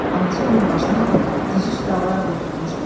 Anası onun başını diz üstə alaraq oturmuşdu.